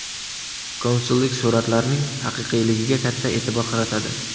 Konsullik suratlarning haqiqiyligiga katta e’tibor qaratadi.